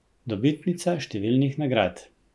Dobitnica številnih nagrad.